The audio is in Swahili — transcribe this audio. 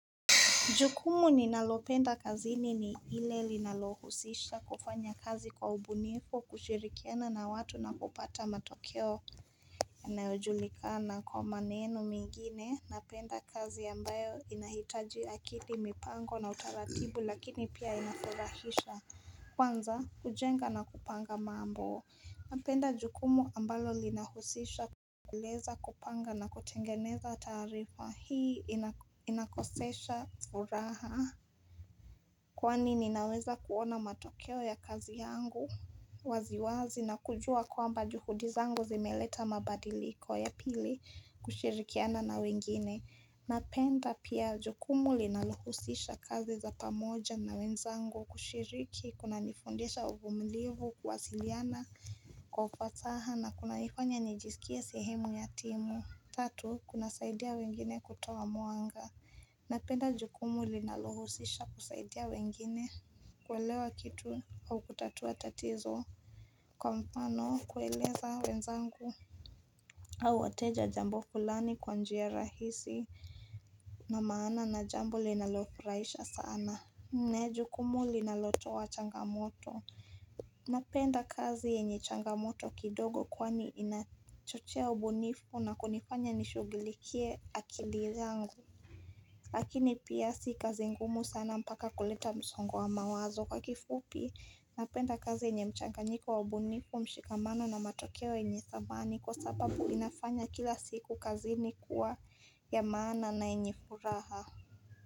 Jukumu ni nalopenda kazini ni ile linalohusisha kufanya kazi kwa ubunifu kushirikiana na watu na kupata matokeo ya naojulikana kwa maneno mingine na penda kazi ambayo inahitaji akili mipango na utaratibu lakini pia inafurahisha kwanza kujenga na kupanga mambo. Napenda jukumu ambalo linahusisha kueleza kupanga na kutengeneza taarifa hii inakosesha furaha Kwani ninaweza kuona matokeo ya kazi yangu waziwazi na kujua kwamba juhudi zangu zimeleta mabadiliko ya pili kushirikiana na wengine Napenda pia jukumu linalohusisha kazi za pamoja na wenzangu kushiriki kuna nifundisha uvumilivu kuwasiliana Kwa ufasaha na kunanifanya nijisikie sehemu ya timu. Tatu kunasaidia wengine kutoa mwanga Napenda jukumu linalohusisha kusaidia wengine kuelewa kitu au kutatua tatizo Kwa mfano kueleza wenzangu au wateja jambo fulani kwa njia rahisi na maana na jambo linalofurahisha sana Mnalo jukumu linalotoa changamoto Napenda kazi yenye changamoto kidogo kwani inachochea ubunifu na kunifanya nishugilikie akili yangu Lakini pia si kazi ngumu sana mpaka kuleta msongo wa mawazo kwa kifupi Napenda kazi yenye mchanganyiko wa ubunifu mshikamano na matokeo yenye thamani Kwa sababu inafanya kila siku kazi ni kuwa ya maana na yenye furaha.